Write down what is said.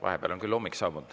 Vahepeal on küll hommik saabunud.